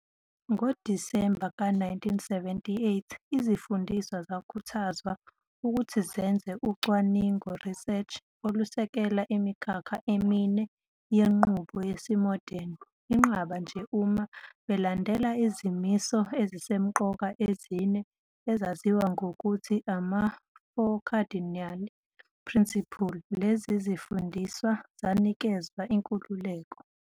ngoDisemba ka 1978, izifundiswa zakhuthazwa ukuthi zenze ucwaningo, research, olusekela imikhakha emine yenqubo yesimodeni, inqaba nje uma belandela izimiso ezisemqoka ezine ezazaziwa ngokuthi ama-"Four Cardinal Principles" lezi zifundiswa zazinikezwa inkululeko.